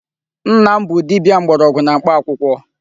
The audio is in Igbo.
Nna m bụ dibịa mgbọrọgwụ na mkpa akwụkwọ.